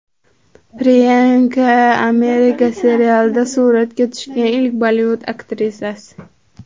Priyanka, Amerika serialida suratga tushgan ilk Bollivud aktrisasi.